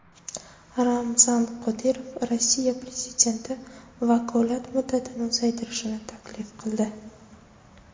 Ramzan Qodirov Rossiya prezidenti vakolat muddatini uzaytirishni taklif qildi.